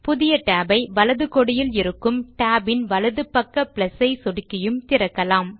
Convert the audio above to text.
புதிய tab ஐ வலது கோடியில் இருக்கும் டேப் இன் வலது பக்க ஐ சொடுக்கியும் திறக்கலாம்